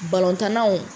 Balontannaw